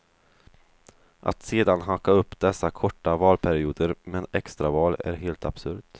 Att sedan hacka upp dessa korta valperioder med extraval är helt absurt.